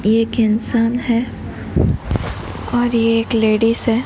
एक इंसान है और ये एक लेडिस हैं।